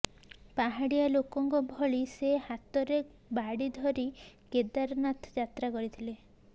ପାହାଡ଼ିଆ ଲୋକଙ୍କ ଭଳି ସେ ହାତରେ ବାଡ଼ି ଧରି କେଦାରନାଥ ଯାତ୍ରା କରିଥିଲେ